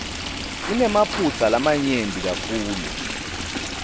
inemaphutsa lamanyenti kakhulu